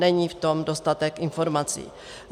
Není v tom dostatek informací.